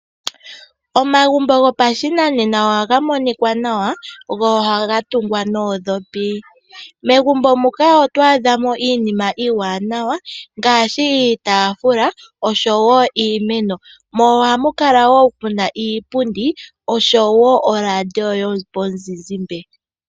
Omagumbo gopashinanena ohaga monikwa nawa, go ohaga tungwa noondhopi. Megumbo muka oto adha mo iinima iiwanawa ngaashi iitafula nosho wo iimeno, mo ohamu kala wo muna iiipundi osho wo oradio yo muzizimba.